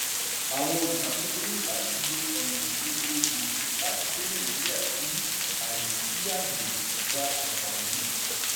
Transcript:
àwọn olùṣàkóso nílò láti lo ọ̀nà gbogboògbò láti gbé nàìjíríà sí àyè sí àyè gba ànfààní.